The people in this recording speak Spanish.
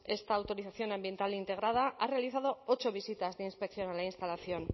esta autorización ambiental integrada ha realizado ocho visitas de inspección a la instalación